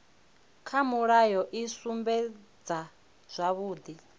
kha mulayo i sumbedza zwavhudi